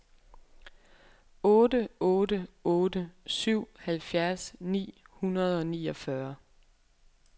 otte otte otte syv halvfjerds ni hundrede og niogfyrre